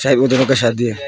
ये वो दोनों का शादी है।